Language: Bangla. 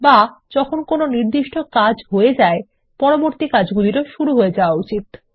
বা যখন কোনো একটি নির্দিষ্ট কাজ হয় পরবর্তী কাজগুলিরও শুরু হওয়া উচিত